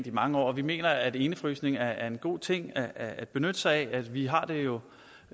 i mange år at vi mener at indefrysning er en god ting at at benytte sig af vi har det jo